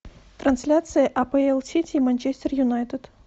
трансляция апл сити и манчестер юнайтед